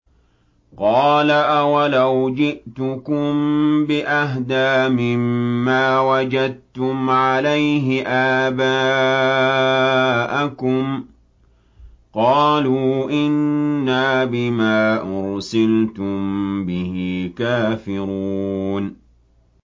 ۞ قَالَ أَوَلَوْ جِئْتُكُم بِأَهْدَىٰ مِمَّا وَجَدتُّمْ عَلَيْهِ آبَاءَكُمْ ۖ قَالُوا إِنَّا بِمَا أُرْسِلْتُم بِهِ كَافِرُونَ